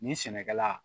Nin sɛnɛkɛla